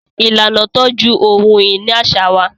Ìlànà tọju ohun-ìní aṣa wà.